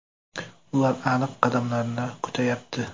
Ular aniq qadamlarni kutayapti.